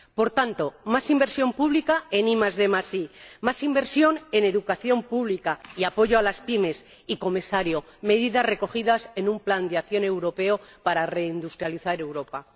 Por tanto, más inversión pública en IDI, más inversión en educación pública y apoyo a las PYME y, Señor Comisario, medidas recogidas en un plan de acción europeo para reindustrializar Europa.